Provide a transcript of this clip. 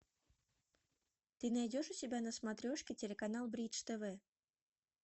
ты найдешь у себя на смотрешке телеканал бридж тв